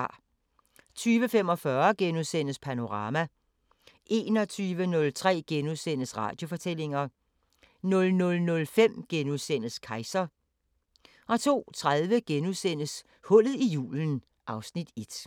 20:45: Panorama * 21:03: Radiofortællinger * 00:05: Kejser * 02:30: Hullet i julen (Afs. 1)*